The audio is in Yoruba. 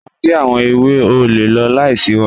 A ń gé àwọn èwè, o lè lọ̀ láisí wà